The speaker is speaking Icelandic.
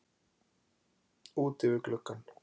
Úti við gluggann.